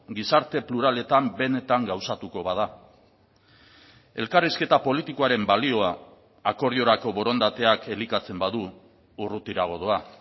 gizarte pluraletan benetan gauzatuko bada elkarrizketa politikoaren balioa akordiorako borondateak elikatzen badu urrutiago doa